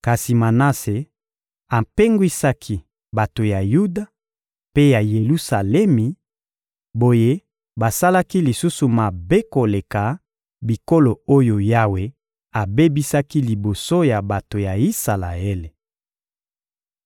Kasi Manase apengwisaki bato ya Yuda mpe ya Yelusalemi; boye basalaki lisusu mabe koleka bikolo oyo Yawe abebisaki liboso ya bato ya Isalaele.